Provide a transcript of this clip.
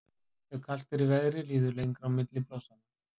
ef kalt er í veðri líður lengra á milli blossanna